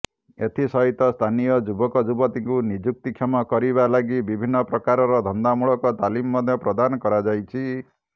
ଏଥିସହିତ ସ୍ଥାନୀୟ ଯୁବକଯୁବତୀଙ୍କୁ ନିଯୁକ୍ତିକ୍ଷମ କରିବା ଲାଗି ବିଭିନ୍ନ ପ୍ରକାର ଧନ୍ଦାମୂଳକ ତାଲିମ ମଧ୍ୟ ପ୍ରଦାନ କରାଯାଇଛି